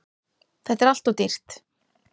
Þetta er alltof dýrt.